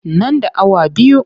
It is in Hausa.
Nan da awa biyu.